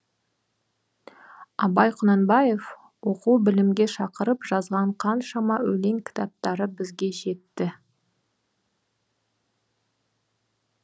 абай құнанбаев оқу білімге шақырып жазған қаншама өлең кітаптары бізге жетті